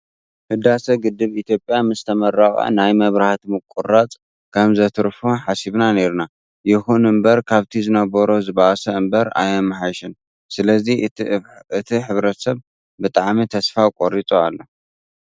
ህዳሰ ግድብ ኢትዮጵያ ምስ ተመረቀ ናይ መብራህቲ ምቁርራፅ ከም ዘትርፎ ሓሲብና ነይርና። ይኹን እምበር ካብ ዝነበሮ ዝበኣሰ እምበር ኣየመሓየሸን። ስለዚ እቲ ሕብረተሰብ ብጣዕሚ ተስፋ ቆሪፁ ኣሎ።